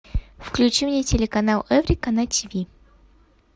включи мне телеканал эврика на тиви